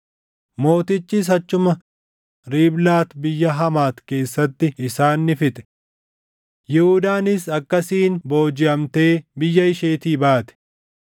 Mootichis achuma Riiblaat biyya Hamaati keessatti isaan ni fixe. Yihuudaanis akkasiin boojiʼamee biyya isheetii baate.